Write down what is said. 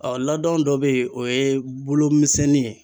Ɔ laadon dɔ bɛ yen o ye bolomisɛnnin ye.